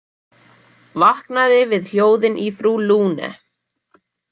Vaknaði við hljóðin í frú Lune.